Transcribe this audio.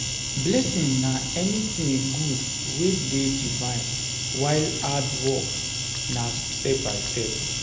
Blessing na anything good wey de divine while hard work na step by step